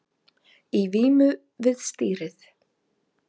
Í vímu við stýrið